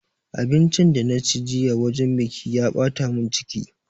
Abincin da na ci jiya wajen biƙi ya ɓata mun ciki